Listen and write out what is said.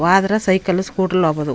ಹೋದರೆ cycle scooter ಲ್ಲಿ ಹೋಗೋದು.